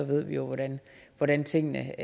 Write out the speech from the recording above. vi jo hvordan tingene